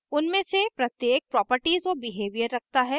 उनमे से प्रत्येक properties और behaviour रखता हैं